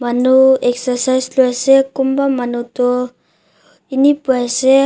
manu exercise kori ase konba manu tu inee pai se.